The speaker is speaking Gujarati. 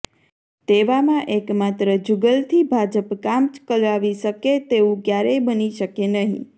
તેવામાં એકમાત્ર જૂગલથી ભાજપ કામ ચલાવી શકે તેવું ક્યારેય બની શકે નહીં